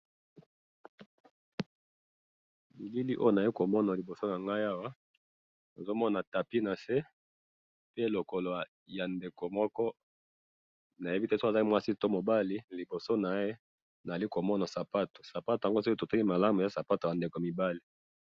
elili oyo naye komona liboso nangayi awa nazo mona tapi nase pe lokolo ya ndeko moko nayebi te soki azali mwasi to mobali liboso naye nazali komona sapato sapato yango tokoki koyebate soki ezali yaba ndeko mwasi to ba ndeko mibali .